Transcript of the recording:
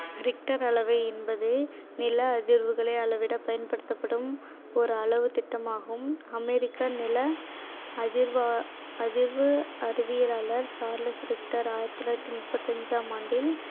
richter அளவை என்பது நில அதிர்வுகளை அளவிடப் பயன்படுத்தப்படும் ஓர் அளவுத்திட்டம் ஆகும் அமெரிக்க நில அதிர்வு அறிவியலாளர் சார்லஸ் ரிக்டர் ஆயிரத்தி தொள்ளாயிரத்து முப்பத்தி அஞ்சாம் ஆண்டில்